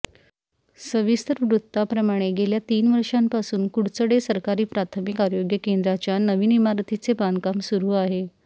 सविस्तर वृत्ताप्रमाणे गेल्या तीन वर्षांपासून कुडचडे सरकारी प्राथमिक आरोग्य केंद्राच्या नवीन इमारतीचे बांधकाम सुरू आहे